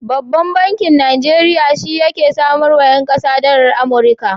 Babban bankin Najeriya shi yake samarwa 'yan kasuwa dalar Amurika.